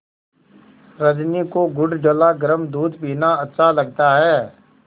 रजनी को गुड़ डला गरम दूध पीना अच्छा लगता है